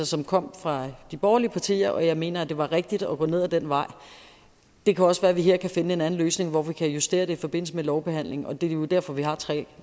som kom fra de borgerlige partiers side og jeg mener det var rigtigt at gå ned ad den vej det kan også være at vi her kan finde en anden løsning hvor vi kan justere det i forbindelse med lovbehandlingen det er jo derfor vi har tre